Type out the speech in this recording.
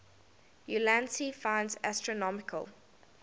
ulansey finds astronomical